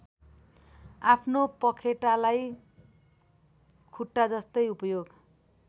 आफ्नो पँखेटालाई खुट्टाजस्तै उपयोग